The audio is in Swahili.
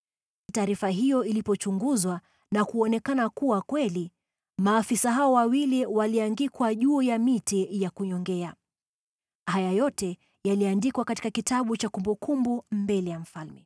Taarifa hiyo ilipochunguzwa na kuonekana kuwa kweli, maafisa hao wawili waliangikwa juu ya miti ya kunyongea. Haya yote yaliandikwa katika kitabu cha kumbukumbu mbele ya mfalme.